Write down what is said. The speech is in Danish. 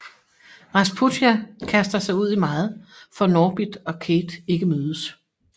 Rasputia kaster sig ud i meget for at Norbit og Kate ikke mødes